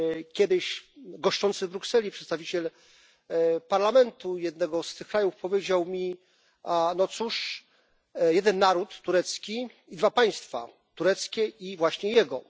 Kiedyś goszczący w Brukseli przedstawiciel parlamentu jednego z tych krajów powiedział mi no cóż, jeden naród turecki i dwa państwa tureckie i właśnie jego.